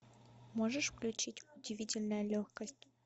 можешь включить удивительная легкость